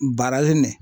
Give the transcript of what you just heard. Baarali ne